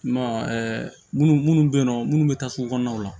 I m'a ye munnu munnu be yen nɔ munnu be taa sugu kɔnɔnaw la